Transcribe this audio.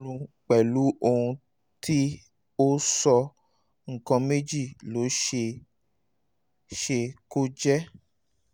ní ìbámu pẹ̀lú ohun ti o sọ nǹkan méjì ló ṣe é se kó jẹ́